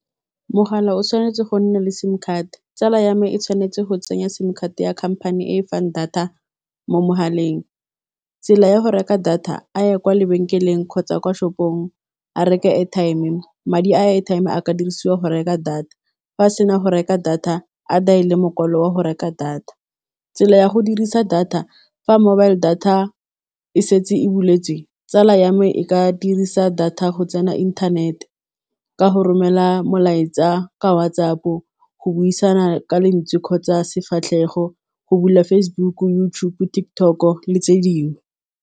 Mogala o tshwanetse go nna le sim card tsala ya me e tshwanetse go tsenya sim card ya khamphane e fang data mo mogaleng, tsela ya go reka data a ye kwa lebenkeleng kgotsa kwa shopong a reke airtime-e madi a airtime a ka dirisiwa go reka data fa a sena go reka data a daele mokwalo wa go reka data, tsela ya go dirisa data fa mobile data e setse e buletswe tsala ya me e ka dirisa data go tsana inthanete, ka go romela molaetsa ka WhatsApp go buisana ka lentswe kgotsa sefatlhego, go bula Facebook YouTube TikTok-o le tse dingwe.